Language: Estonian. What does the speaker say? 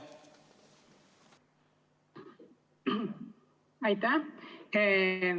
Aitäh!